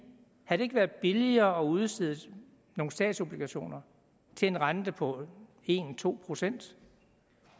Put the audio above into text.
været billigere at udstede nogle statsobligationer til en rente på en to procent